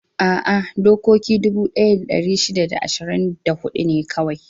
A'a, daƙiƙoƙi dubu ɗaya da ɗari shida da ashirin da huɗu ne kawai.